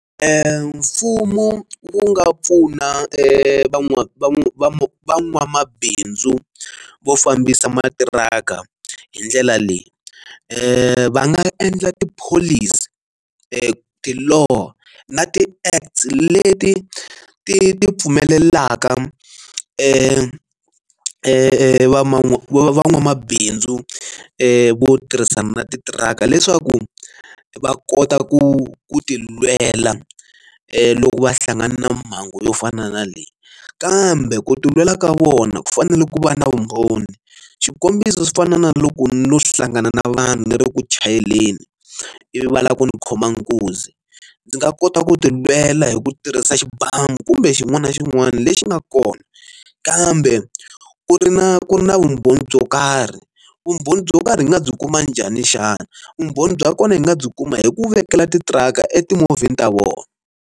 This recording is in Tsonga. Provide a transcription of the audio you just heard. mfumo wu nga pfuna van'wana va van'wamabindzu vo fambisa matiraka hi ndlela leyi, va nga endla tipholisi ti ti lo na ti act leti ti ti pfumelelaka va va van'wamabindzu vo tirhisana titiraka leswaku va kota ku ku ti lwela loko va hlangana na mhangu yo fana na leyi kambe ku tilwela ka vona ku fanele ku va na vumbhoni xikombiso swi fana na loko no hlangana na vanhu ni ri ku chayeleni ivi va lava ku n'wi khoma nkunzi ndzi nga kota ku ti lwela hi ku tirhisa xibamu kumbe xin'wana na xin'wana lexi nga kona kambe ku ri na ku ri na vumbhoni byo karhi vumbhoni byo karhi hi nga byi kuma njhani xana vumbhoni bya kona hi nga byi kuma hi ku vekela titiraka eti movheni ta vona.